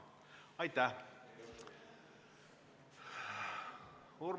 Aitäh!